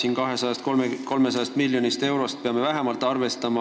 Peame arvestama vähemalt 200–300 miljoni euroga.